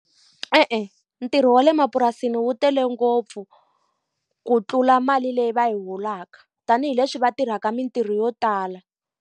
E-e, ntirho wa le mapurasini wu tele ngopfu ku tlula mali leyi va yi holaka, tanihileswi va tirhaka mitirho yo tala.